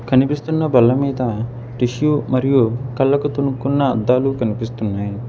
కనిపిస్తున్న బల్ల మీద టిష్యూ మరియు కళ్ళకు తొనుక్కున్న అద్దాలు కనిపిస్తున్నాయి.